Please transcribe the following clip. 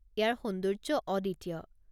ইয়াৰ সৌন্দৰ্য্য অদ্বিতীয়।